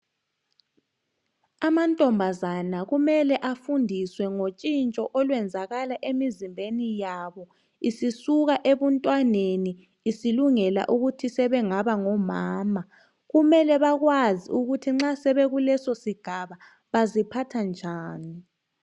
Amantombazana kumele afundiswe ngotshintsho olwenzakala emizimbeni yabo, isisuka ebuntwaneni isilungela ukuthi sebengaba ngomama. Kumele bakwazi ukuthi nxa sebekulesosigaba baziphatha njani.